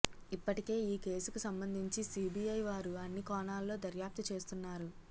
ఇప్పటికే ఈ కేసుకు సంబంధించి సిబిఐ వారు అన్ని కోణాల్లో దర్యాప్తు చేస్తున్నారు